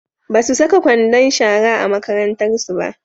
Basu saka kwandon shara a makarantarsu ba.